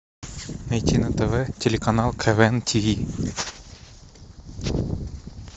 найти на тв телеканал квн тв